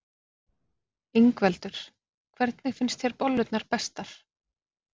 Ingveldur: Hvernig finnst þér bollurnar bestar?